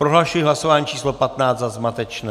Prohlašuji hlasování číslo 15 za zmatečné.